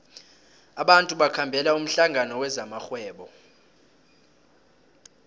abantu bakhambela umhlangano wezamarhwebo